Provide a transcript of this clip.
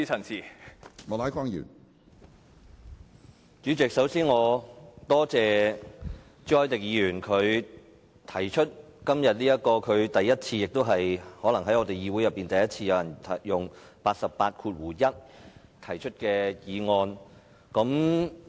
主席，首先我多謝朱凱廸議員，今天是他首次——亦可能是議會首次——根據《議事規則》第881條動議議案。